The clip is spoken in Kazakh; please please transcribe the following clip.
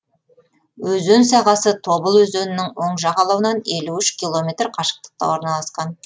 өзен сағасы тобыл өзенінің оң жағалауынан елу үш километр қашықтықта орналасқан